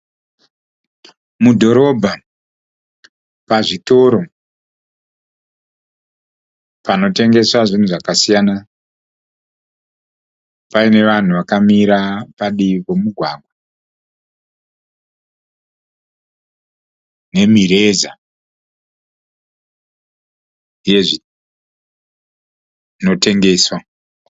Mudhororobha, pazvitoro, panotengeswa zvinhu zvakasiyana paine vanhu vakamira padivi pomugwagwa nemireza yezvinotengeswa.